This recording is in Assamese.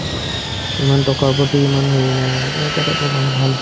ইমান টকাৰ প্ৰতি ইমান হেৰি নাই মানে তেনেকুৱা type ৰ মানুহ ভাল